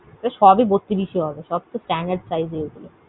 সবই বত্রিশ ই হবে, সব তো standrad size ই এগুলো।